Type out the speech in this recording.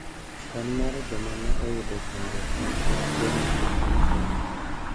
Kwan mar joma ne oyudo chandruok nikech tuwono e piny China